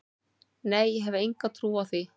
Nei, ég hef enga trú á því.